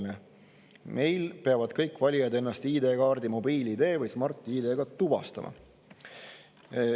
Meil peavad kõik valijaid ennast ID-kaardi, mobiil-ID või Smart-ID abil tuvastama.